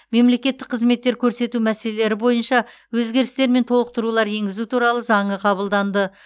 мемлекеттік қызметтер көрсету мәселелері бойынша өзгерістер мен толықтырулар енгізу туралы заңы қабылданды